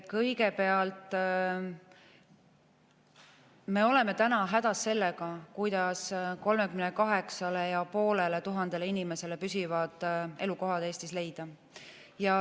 Kõigepealt, me oleme hädas sellega, kuidas 38 500 inimesele Eestis püsiv elukoht leida.